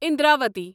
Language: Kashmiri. اندراوتی